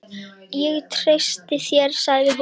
Ég treysti þér sagði hún.